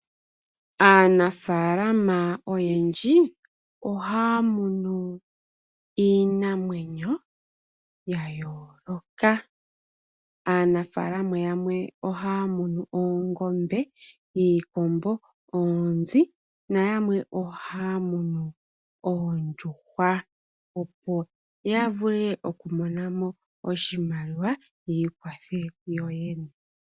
Aanafaalama oyendji, oha ya munu iinamwenyo ya yooka. Aanafaalama ya oha ya munu oongombe, iikombo, oonzi na yamwe oha ya munu oondjuhwa opo ya vule oku monamo oshimaliwa, yi ikwathe yoyene.